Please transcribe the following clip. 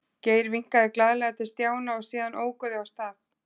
Geir vinkaði glaðlega til Stjána og síðan óku þau af stað.